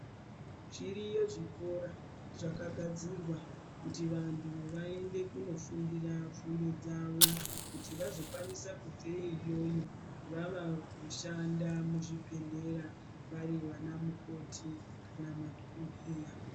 Zviriyo zvikora zvakagadzirwa kuti vantu vagare kuti vazokwanisa tiri iyoyo kushanda kuzvibhedhlera vari vana mukoti kana madhokodheya.